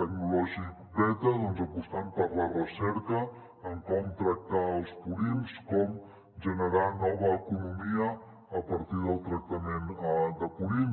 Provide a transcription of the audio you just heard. tecnològic beta doncs apostant per la re·cerca en com tractar els purins com generar nova economia a partir del tractament de purins